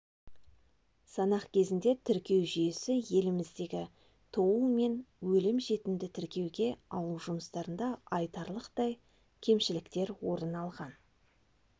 санақ кезінде тіркеу жүйесі еліміздегі туу мен өлім-жітімді тіркеуге алу жұмыстарында айтарлықтай кемшіліктер орын алған